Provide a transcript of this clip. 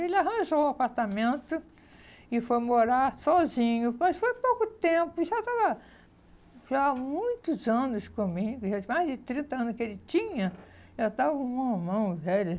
Ele arranjou um apartamento e foi morar sozinho, mas foi pouco tempo, ele já estava já há muitos anos comigo, já mais de trinta anos que ele tinha, já estava um homão velho,